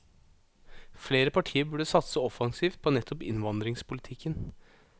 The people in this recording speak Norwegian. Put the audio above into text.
Flere partier burde satse offensivt på nettopp innvandringspolitikken.